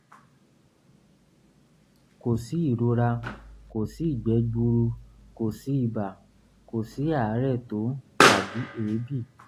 kò sí ìrora kò sí ìgbẹ́ gbuuru kò sí ibà kò sí àárẹ̀ tó tàbí èébì